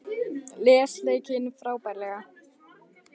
Les leikinn frábærlega